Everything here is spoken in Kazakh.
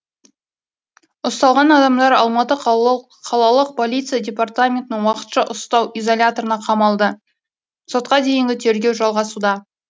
ұсталған адамдар алматы қалалық полиция департаментінің уақытша ұстау изоляторына қамалды сотқа дейінгі тергеу жалғасуда